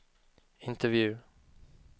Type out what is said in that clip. intervju